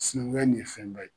Sinanguya in ye fɛn bɛɛ ye